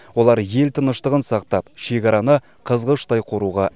олар ел тыныштығын сақтап шекараны қызғыштай қоруға әзір